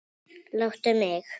Láttu mig.